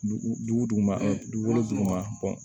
Dugu duguma dugu duguma